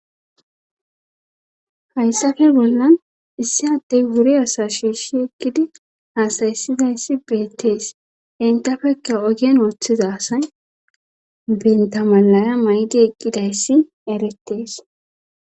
hayssafe bollan issi addey wuri asa shiishi ekkidi haasayissidayssi beettees intafekka ogien ooththiza asay bentamalaya may7di eqqidayssi erettees